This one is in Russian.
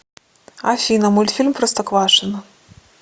афина мультфильм простоквашино